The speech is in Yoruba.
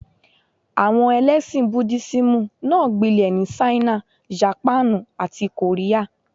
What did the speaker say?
Àwọn ẹlẹ́ṣìn Búdísíìmù náà gbilẹ̀ ní Ṣáínà, Jàpáànù, àti Kòríà.